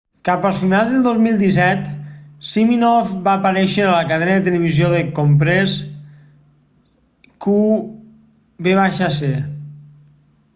cap a finals de 2017 siminoff va aparèixer en la cadena de televisió de compres qvc